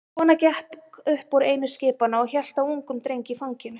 Kona gekk upp úr einu skipanna og hélt á ungum dreng í fanginu.